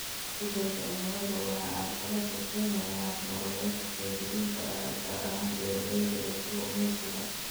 Isbeddelka cimiladu waxa uu carqalad ku keenayaa hab-nololeedkii soo jireenka ahaa, gaar ahaan beeralayda iyo kalluumaysiga.